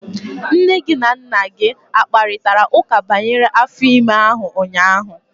Nne gị na Nna gị akparịtara ụka banyere afọ ime ahụ ụnyahụ?